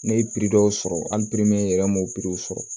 Ne ye dɔw sɔrɔ hali yɛrɛ n m'o sɔrɔ